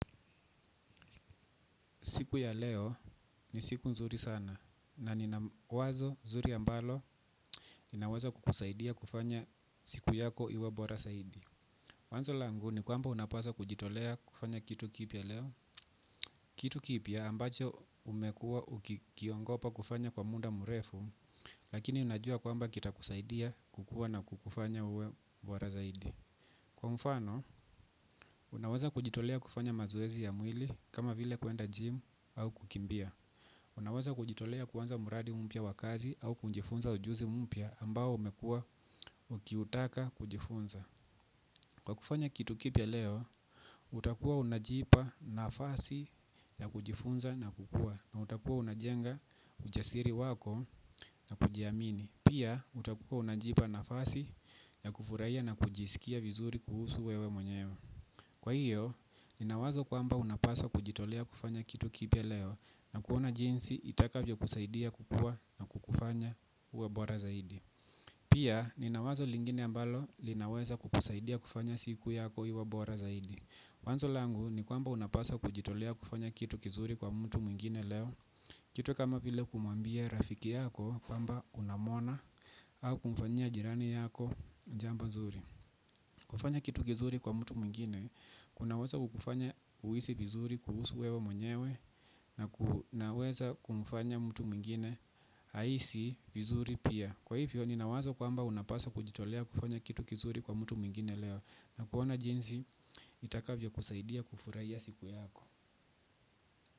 Siku ya leo ni siku nzuri sana na nina wazo zuri ambalo linaweza kukusaidia kufanya siku yako iwe bora zaidi. Wazo languni kwamba unapaswa kujitolea kufanya kitu kipya leo. Kitu kipya ambacho umekua ukiogopa kufanya kwa muda mrefu lakini unajua kwamba kita kusaidia kukua na kukufanya uwebora zaidi. Kwa mfano, unawaza kujitolea kufanya mazoezi ya mwili kama vile kuenda gym au kukimbia. Unaweza kujitolea kuanza mradi mpya wakazi au kunjifunza ujuzi mpya ambao umekua ukiutaka kujifunza. Kwa kufanya kitu kipya leo, utakua unajipa nafasi ya kujifunza na kukua na utakua unajenga ujasiri wako na kujiamini. Pia utakua unajipa nafasi ya kufurahia na kujisikia vizuri kuhusuwewe mwenyewe. Kwa hiyo, ninawazo kwamba unapaswa kujitolea kufanya kitu kipya leo na kuona jinsi itaka vyo kusaidia kukua na kukufanya uwe bora zaidi. Pia, ninawazo lingine ambalo linaweza kukusaidia kufanya siku yako iwe bora zaidi. Wazo langu ni kwamba unapaswa kujitolea kufanya kitu kizuri kwa mtu mwingine leo. Kitu kama vile kumuambia rafiki yako kwamba unamwona au kumfanya jirani yako jambo zuri. Kufanya kitu kizuri kwa mtu mwingine kunaweza kukufanya uhisi vizuri kuhusu wewe mwenyewe na kunaweza kumfanya mtu mwingine ahisi vizuri pia. Kwa hivyo ninawazo kwamba unapaswa kujitolea kufanya kitu kizuri kwa mtu mwingine leo na kuona jinsi itakavyo kusaidia kufurahia siku yako.